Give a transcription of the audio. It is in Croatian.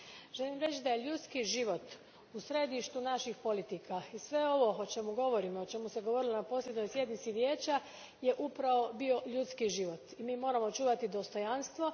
Želim reći da je ljudski život u središtu naših politika i sve ovo o čemu govorimo i o čemu se govorilo na posljednjoj sjednici Vijeća upravo je bio ljudski život, i mi moramo čuvati dostojanstvo.